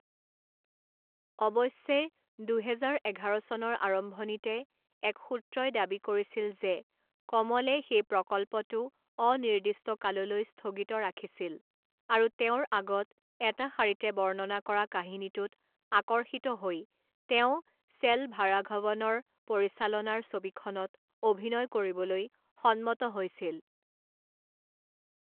অৱশ্যে, দুহেজাৰ এঘাৰ চনৰ আৰম্ভণিতে এক সূত্ৰই দাবী কৰিছিল যে কমলে সেই প্ৰকল্পটো অনিৰ্দিষ্ট কাললৈ স্থগিত ৰাখিছিল আৰু তেওঁৰ আগত এটা শাৰীতে বৰ্ণনা কৰা কাহিনীটোত আকৰ্ষিত হৈ তেওঁ চেলভাৰাঘৱনৰ পৰিচালনাৰ ছবিখনত অভিনয় কৰিবলৈ সন্মত হৈছিল।